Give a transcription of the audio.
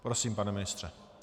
Prosím, pane ministře.